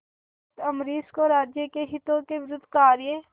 भक्त अम्बरीश को राज्य के हितों के विरुद्ध कार्य